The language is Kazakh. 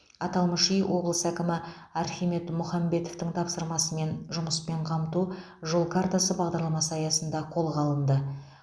аталмыш үй облыс әкімі архимед мұхамбетовтің тапсырмасымен жұмыспен қамту жол картасы бағдарламасы аясында қолға алынды